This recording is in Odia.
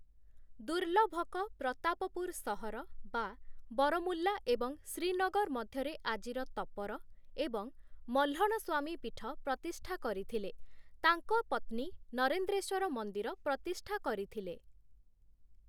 ଦୁର୍ଲଭକ ପ୍ରତାପପୁର ସହର (ବରମୁଲା ଏବଂ ଶ୍ରୀନଗର ମଧ୍ୟରେ ଆଜିର ତପର) ଏବଂ ମହ୍ଲଣସ୍ଵାମୀ ପୀଠ ପ୍ରତିଷ୍ଠା କରିଥିଲେ, ତାଙ୍କ ପତ୍ନୀ ନରେନ୍ଦ୍ରେଶ୍ଵର ମନ୍ଦିର ପ୍ରତିଷ୍ଠା କରିଥିଲେ ।